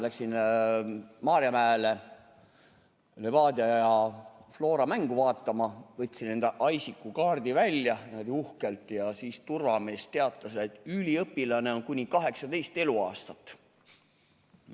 Läksin Maarjamäele Levadia ja Flora mängu vaatama, võtsin enda ISIC-kaardi välja, niimoodi uhkelt, ja siis turvamees teatas, et üliõpilane on kuni 18 eluaastat.